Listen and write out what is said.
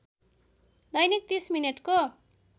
दैनिक ३० मिनेटको